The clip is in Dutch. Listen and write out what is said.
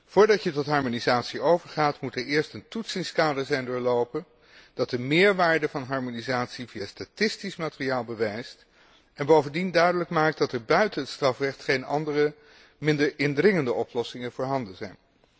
Voordat je tot harmonisatie overgaat, moet er eerst een toetsingskader zijn doorlopen dat de meerwaarde van harmonisatie via statistisch materiaal bewijst en bovendien duidelijk maakt dat er buiten het strafrecht geen andere, minder indringende oplossingen voorhanden zijn.